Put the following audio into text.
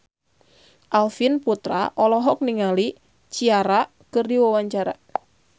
Arifin Putra olohok ningali Ciara keur diwawancara